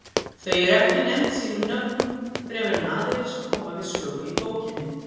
Þau eru ekki nefnd sínum nöfnum fremur en aðrir sem koma við sögu í bókinni.